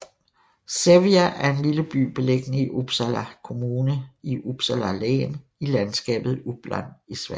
Sävja er en lille by beliggende i Uppsala Kommune i Uppsala län i landskabet Uppland i Sverige